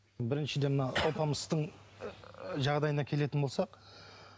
біріншіден мына алпамыстың жағдайына келетін болсақ